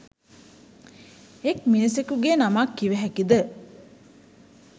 එක් මිනිසෙකුගේ නමක් කිව හැකිද?